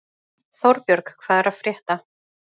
Þórbjörg, hvað er að frétta?